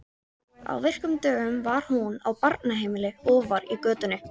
Á virkum dögum var hún á barnaheimili ofar í götunni.